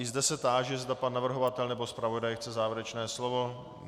I zde se táži, zda pan navrhovatel nebo zpravodaj chce závěrečné slovo.